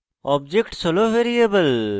objects হল variable